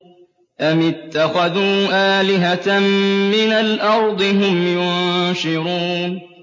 أَمِ اتَّخَذُوا آلِهَةً مِّنَ الْأَرْضِ هُمْ يُنشِرُونَ